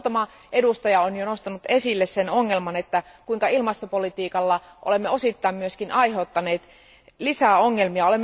Muutama edustaja on jo nostanut esille sen ongelman, kuinka ilmastopolitiikalla olemme osittain myös aiheuttaneet lisää ongelmia.